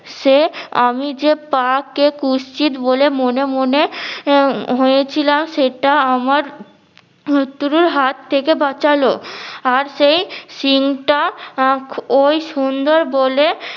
সে আমি যে পাকে কুচ্ছিত বলে মনে মনে হয়েছিলাম সেটা আমার মৃত্যুর হাত থেকে বাঁচালো আর সেই সিং টা আ ওই সুন্দর বলে